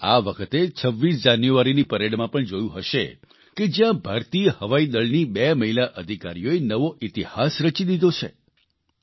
તમે આ વખતે 26 જાન્યુઆરીની પરેડમાં પણ જોયું હશે કે જ્યાં ભારતીય હવાઇદળની બે મહિલા અધિકારીઓએ નવો ઇતિહાસ રચી દીધો છે